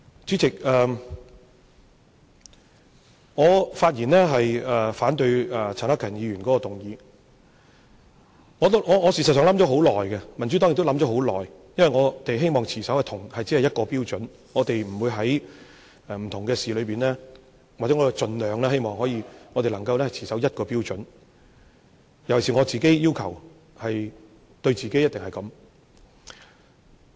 主席，我發言反對陳克勤議員的議案，事實上，我想了很久，民主黨亦想了很久，因為我們希望，或者說，我們是希望盡量能在不同事宜上，皆持守一個標準，我尤其要求自己一定要這樣。